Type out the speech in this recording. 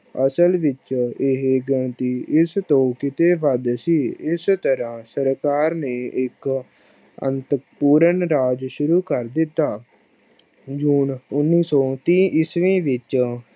ਅਸਲ ਵਿੱਚ ਇਹ ਗਿਣਤੀ ਇਕ ਤੋਂ ਕੀਤੇ ਵੱਧ ਸੀ L ਇਸ ਤਰਾਂ ਸਰਕਾਰ ਨੇ ਇਕ ਅੰਤ ਪੂਰਨ ਰਾਜ ਸ਼ੁਰੂ ਕਰ ਦਿਤਾ। june ਉਨੀ ਸੋ ਤੀਹ ਈਸਵੀ ਵਿਚ